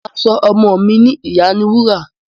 Mà á so ọmọ mi ni ìyániwúrà.